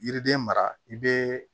Yiriden mara i bɛ